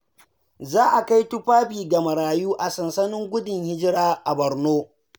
Za a kai tufafi ga marayu a sansanin gudun hijira a Borno.